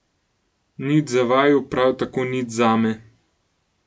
Nič za vaju, prav tako nič zame.